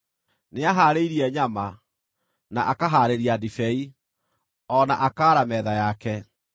Nĩahaarĩirie nyama, na akahaarĩria ndibei, o na akaara metha yake.